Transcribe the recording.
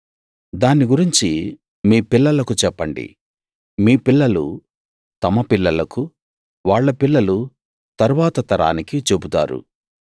దాన్ని గురించి మీ పిల్లలకు చెప్పండి మీ పిల్లలు తమ పిల్లలకు వాళ్ళ పిల్లలు తరువాత తరానికి చెబుతారు